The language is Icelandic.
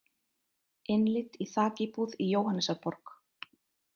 Innlit í þakíbúð í Jóhannesarborg